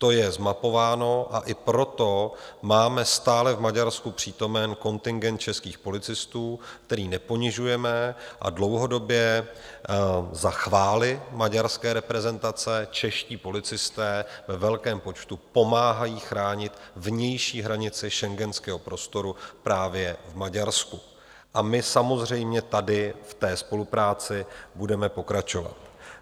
To je zmapováno, a i proto máme stále v Maďarsku přítomen kontingent českých policistů, který neponižujeme, a dlouhodobě za chvály maďarské reprezentace, čeští policisté ve velkém počtu pomáhají chránit vnější hranice schengenského prostoru právě v Maďarsku a my samozřejmě tady v té spolupráci budeme pokračovat.